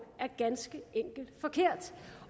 er ganske enkelt forkert